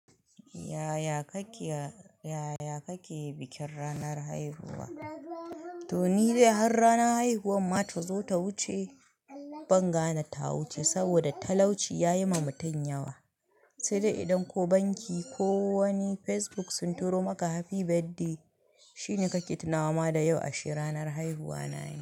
Yaya kake, yaya kake bikin ranar haihuwa? To ni dai har ranar haihuwan mata zo ta wuce, ban gane ta wuce saboda talauci yayi ma mutum yawa. Sai dai idan ko banki ko wani Facebook sun turo maka happy birthday, shine kake tunawa ma da yau ashe ranar haihuwa na ne.